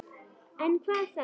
En hvað þá?